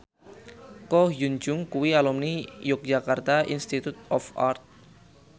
Ko Hyun Jung kuwi alumni Yogyakarta Institute of Art